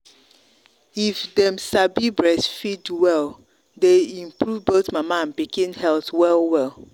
if them sabi breastfeed welle day improve both mama and pikin health well well.